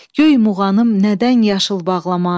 Göy muğanım nədən yaşıl bağlamaz?